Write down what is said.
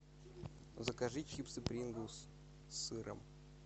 закажи чипсы принглс с сыром